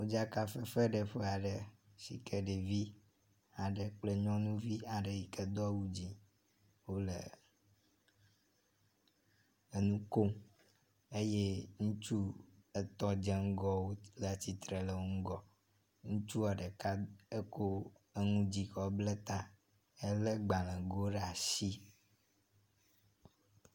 Modzkafefeɖeƒe aɖe si ke ɖevi aɖe kple nyɔnuvi aɖe yi ke do awu dzi wo le enu kom eye ŋutsu etɔ̃ dze ŋgɔ wo le atsitre le wo ŋgɔ. Ŋutsua ɖeka eko eŋu dzi kɔ ble ta hele gbalego ɖe asi.